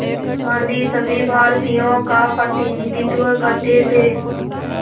गांधी सभी भारतीयों का प्रतिनिधित्व करते थे